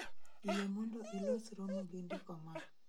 Yie mondo ilos romo gi ndiko maa